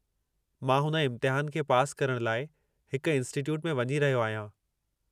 मां हुन इम्तिहान खे पासि करण लाइ हिक इंस्टिट्यूट में वञी रहियो आहियां।